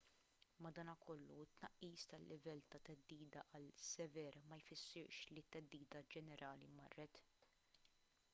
madankollu it-tnaqqis tal-livell ta' theddida għal sever ma jfissirx li t-theddida ġenerali marret